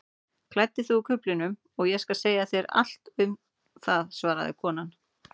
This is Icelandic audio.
Klæddu þig úr kuflinum og ég skal segja þér allt um það svaraði konan.